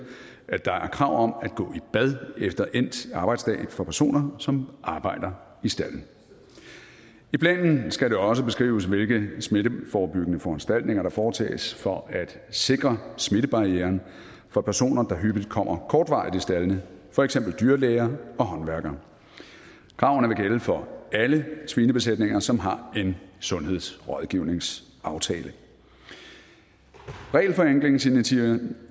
at der er krav om at gå i bad efter endt arbejdsdag for personer som arbejder i stalden i planen skal det også beskrives hvilke smitteforebyggende foranstaltninger der foretages for at sikre smittebarrieren for personer der hyppigt kommer kortvarigt i staldene for eksempel dyrlæger og håndværkere kravene vil gælde for alle svinebesætninger som har en sundhedsrådgivningsaftale regelforenklingsinitiativer